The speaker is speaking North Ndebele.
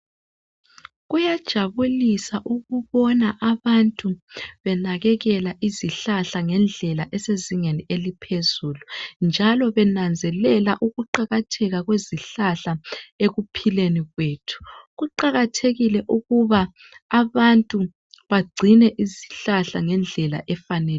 Kuyajabulisa ukubona abantu benakekela izihlahla ngendlela esezingeni eliphezulu njalo benanzelela ukuqakatheka kwezihlahla ekuphileni kwethu. Kuqakathekile ukuba abantu bagcine izihlahla ngendlela efaneleyo.